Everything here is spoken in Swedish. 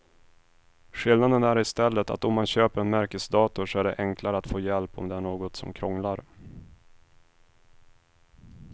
Skillnaden är i stället att om man köper en märkesdator så är det enklare att få hjälp om det är något som krånglar.